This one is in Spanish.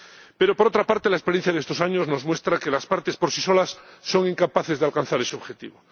Pero, por otra parte, la experiencia de estos años nos muestra que las partes, por sí solas, son incapaces de alcanzar ese objetivo.